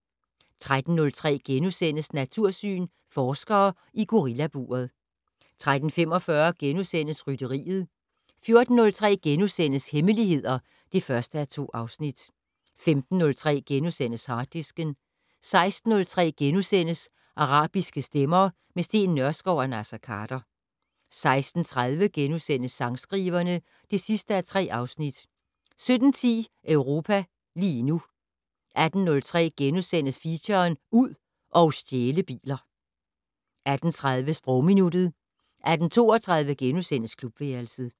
13:03: Natursyn: Forskere i gorillaburet * 13:45: Rytteriet * 14:03: Hemmeligheder (1:2)* 15:03: Harddisken * 16:03: Arabiske stemmer - med Steen Nørskov og Naser Khader * 16:30: Sangskriverne (3:3)* 17:10: Europa lige nu 18:03: Feature: Ud og stjæle biler * 18:30: Sprogminuttet 18:32: Klubværelset *